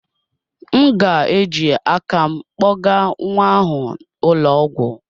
M ga-eji aka m kpogaa nwa ahụ ụlọ ọgwụ.